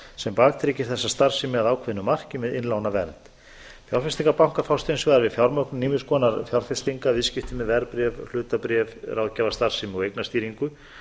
sem baktryggir þessa starfsemi að ákveðnu marki með innlánavernd fjárfestingarbankar fást hins vegar við fjármögnun ýmiss konar fjárfestinga viðskipti með verðbréf hlutabréf ráðgjafarstarfsemi og eignastýringu